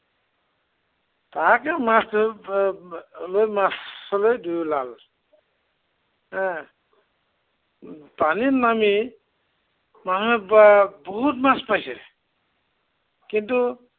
তাৰপিছত মাছ ধৰিবলৈ মাছলৈ দুয়ো ওলাল। এৰ পানীত নামি মানুহে এৰ বহুত মাছ পাইছে। কিন্তু